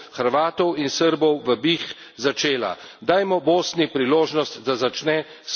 S tem vmešavanjem se je drama Bošnjakov, Hrvatov in Srbov v BiH začela.